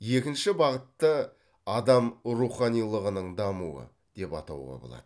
екінші бағытты адам руханилығының дамуы деп атауға болады